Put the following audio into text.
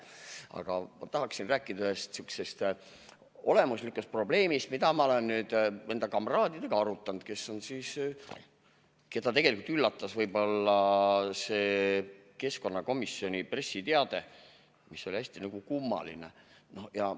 Aga ma tahan rääkida ühest sihukesest olemuslikust probleemist, mida ma olen arutanud enda kamraadidega, keda tegelikult üllatas keskkonnakomisjoni pressiteade, mis oli hästi kummaline.